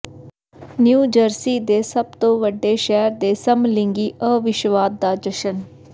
new Jersey ਦੇ ਸਭ ਤੋਂ ਵੱਡੇ ਸ਼ਹਿਰ ਦੇ ਸਮਲਿੰਗੀ ਅਵਿਸ਼ਵਾਦ ਦਾ ਜਸ਼ਨ